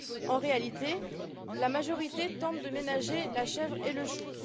En réalité, la majorité tente de ménager la chèvre et le chou.